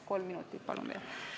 Kolm minutit palun veel!